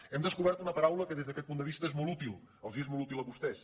hem descobert una paraula que des d’aquest punt de vista és molt útil els és molt útil a vostès